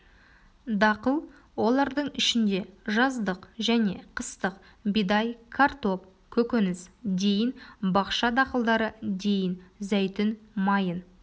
дақыл олардың ішінде жаздық және қыстық бидай картоп көкөніс дейін бақша дақылдары дейін зәйтүн майын